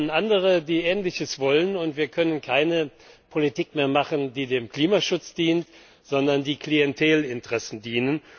Dann kommen andere, die Ähnliches wollen, und wir können keine Politik mehr machen, die dem Klimaschutz dient, sondern nur eine, die Klientelinteressen dient.